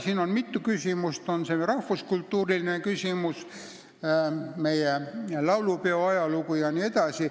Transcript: Siin on mitu teemat: rahvuskultuuriline küsimus, laulupeo ajalugu jne.